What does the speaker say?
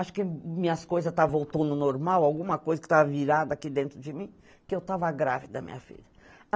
Acho que minhas coisas estavam voltando ao normal, alguma coisa que estava virada aqui dentro de mim, porque eu estava grávida, minha filha.